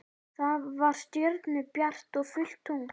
Það var stjörnubjart og fullt tungl.